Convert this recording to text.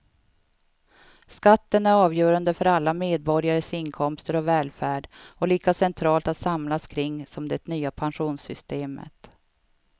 Skatten är avgörande för alla medborgares inkomster och välfärd och lika centralt att samlas kring som det nya pensionssystemet.